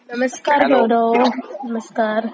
नमस्कार गौरव नमस्कार